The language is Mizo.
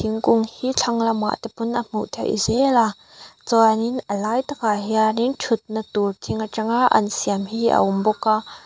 thingkung hi thlang lamah te pawn a hmuh theih zel a chuan in a lai takah hian in thutna tur thing atanga an siam hi a awm bawk a.